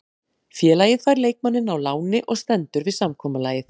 Félagið fær leikmanninn á láni og stendur við samkomulagið.